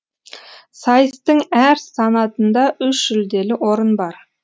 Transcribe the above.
сайыстың әр санатында үш жүлделі орын бар